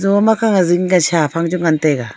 jo makhang e sha phang chu ngan tai a.